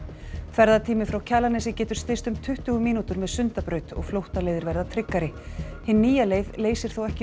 ferðatími frá Kjalarnesi getur styst um tuttugu mínútur með Sundabraut og flóttaleiðir verða tryggari hin nýja leið leysir þó ekki